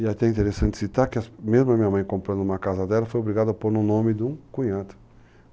E até é interessante citar que mesmo a minha mãe comprando uma casa dela foi obrigada a pôr no nome de um cunhado.